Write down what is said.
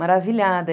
Maravilhada.